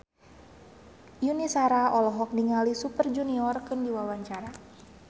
Yuni Shara olohok ningali Super Junior keur diwawancara